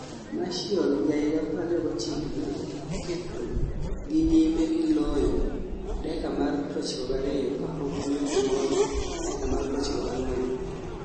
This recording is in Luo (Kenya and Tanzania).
Martial,29, ne oketogi nyime gi loyo dakika mar 92 kapok omedo moro dakika mar 94